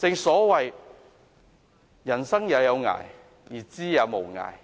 所謂"吾生也有涯，而知也無涯。